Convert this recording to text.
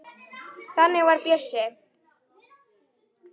Þannig var Bjössi.